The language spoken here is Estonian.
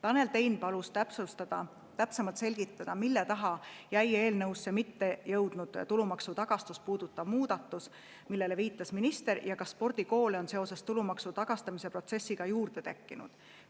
Tanel Tein palus täpsustada, täpsemalt selgitada, mille taha jäi eelnõusse mitte jõudnud tulumaksu tagastamist puudutav muudatus, millele viitas minister, ja kas spordikoole on seoses tulumaksu tagastamise protsessiga juurde tekkinud.